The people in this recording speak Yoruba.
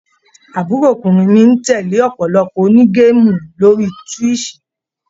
Àbúròkùnrin mi ń tẹ̀lé ọ̀pọ̀lọpọ̀ onígéèmù lórí Twitch.